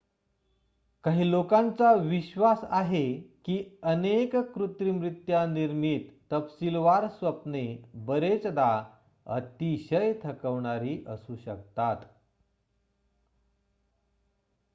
काही लोकांचा विश्वास आहे की अनेक कृत्रिमरित्या निर्मित तपशिलवार स्वप्ने बरेचदा अतिशय थकवणारी असू शकतात